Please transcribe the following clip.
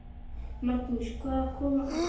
Magnús: Hvaðan koma ykkar lömb?